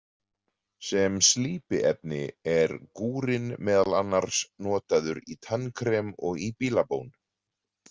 Sem slípiefni er gúrinn meðal annars notaður í tannkrem og í bílabón.